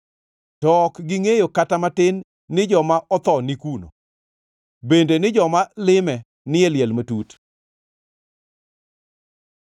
To ok gingʼeyo kata matin ni joma otho ni kuno; bende ni joma lime ni e liel matut.